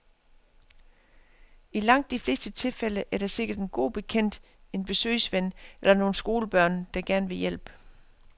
I langt de fleste tilfælde er der sikkert en god bekendt, en besøgsven eller nogle skolebørn, der gerne vil hjælpe.